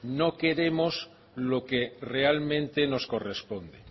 no queremos lo que realmente nos corresponde